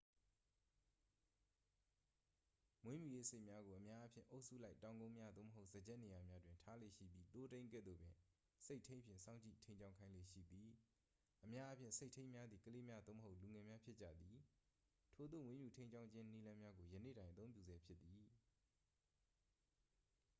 မွေးမြူရေးဆိတ်များကို အများအားဖြင့် အုပ်စုလိုက် တောင်ကုန်းများ သို့မဟုတ် စားကျက်နေရာများတွင် ထားလေ့ရှိပြီး သိုးထိန်းကဲ့သို့ပင် ဆိတ်ထိန်းဖြင့် စောင့်ကြည့်ထိန်းကျောင်းခိုင်းလေ့ရှိသည် အများအားဖြင့် ဆိတ်ထိန်းများသည် ကလေးများ သို့မဟုတ် လူငယ်များဖြစ်ကြသည် ထိုသို့ မွေးမြူထိန်းကျောင်းခြင်းနည်းလမ်းများကို ယနေ့တိုင် အသုံးပြုဆဲဖြစ်သည်